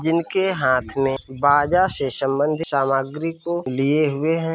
जिनके हाथ में बाजा शे सम्बंधित सामग्री को लिए हुए हैं |